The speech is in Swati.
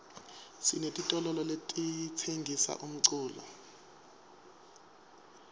sinetitolole letitsengisa umculo